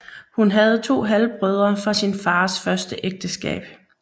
Hun havde to halvbrødre fra sin fars første ægteskab